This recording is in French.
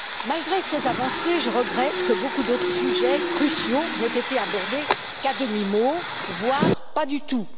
Malgré ces avancées, je regrette que beaucoup d'autres sujets cruciaux n'aient été abordés qu'à demi mot, voire pas du tout.